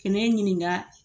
Ke ne ɲininga